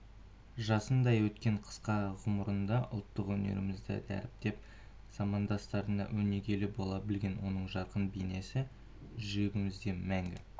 жасындай өткен қысқа ғұмырында ұлттық өнерімізді дәріптеп замандастарына өнегелі бола білген оның жарқын бейнесі жүрегімізде мәңгі